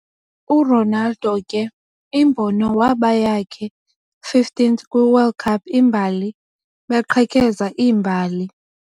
Ronaldo ke imbono waba yakhe 15th kwi World Cup imbali, beqhekeza imbali.